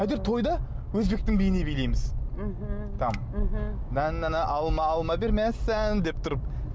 әйтеуір тойда өзбектің биіне билейміз мхм там деп тұрып